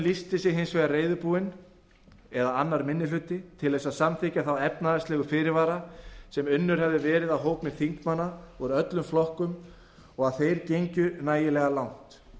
eða annar minni hluti lýsti sig hins vegar reiðubúinn til að samþykkja þá efnahagslegu fyrirvara sem unnir höfðu verið af hópi þingmanna úr öllum flokkum og að þeir gengju nægilega langt